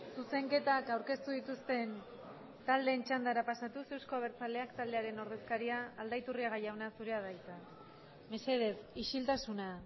zuzenketak aurkeztu dituzten taldeen txandara pasatuz euzko abertzaleak taldearen ordezkaria aldaiturriaga jauna zurea da hitza mesedez isiltasuna